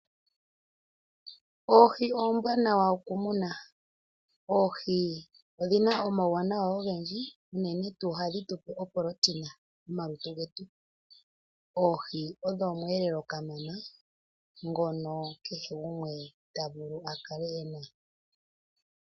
Oohi ombwanawa okumuna, oohi odhina omawuwanawa ogendji, uunenetu ohadhi tupe oporotina momalutu getu, oohi odho omwelelo kamana ngono kehe gumwe tavulu akale ena.